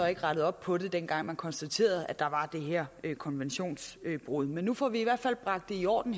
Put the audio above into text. ikke rettede op på det dengang man konstaterede at der var det her konventionsbrud men nu får vi det i hvert fald bragt i orden